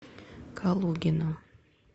калугина